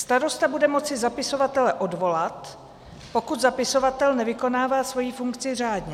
Starosta bude moci zapisovatele odvolat, pokud zapisovatel nevykonává svoji funkci řádně.